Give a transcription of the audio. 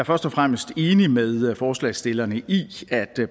først og fremmest enig med forslagsstillerne i at